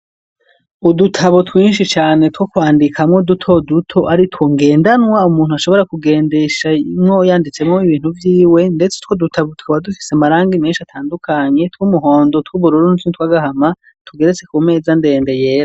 Udutabo twinshi cane two kwandikamwo dutoduto ari two ngendanwa umuntu ashobora kugendesha imwo yanditsemwo ibintu vyiwe, ndetse two dutabo twba dufise amaranga menshi atandukanye twumuhondo tw'ubururunutni twagahama tugeretse ku meza ndende yera.